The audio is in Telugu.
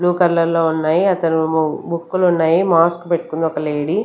బ్ల్యూ కలర్ లో ఉన్నాయి అతనేమో బుక్కులు ఉన్నాయి మాస్క్ పెట్టుకున్న ఒక లేడి .